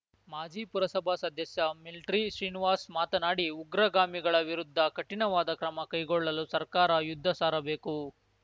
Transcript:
ಮಾಜಿ ಪುರಸಭಾ ಸದಸ್ಯ ಮಿಲ್ಟ್ರಿ ಶ್ರೀನಿವಾಸ್‌ ಮಾತನಾಡಿ ಉಗ್ರಗಾಮಿಗಳ ವಿರುದ್ಧ ಕಠಿಣವಾದ ಕ್ರಮ ಕೈಗೊಳ್ಳಲು ಸರ್ಕಾರ ಯುದ್ಧ ಸಾರಬೇಕು